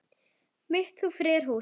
mitt þú friðar hús.